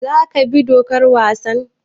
Za ka bi dokar wasan?